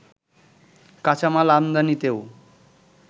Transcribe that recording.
কাঁচামাল ‍‌আমদানিতেও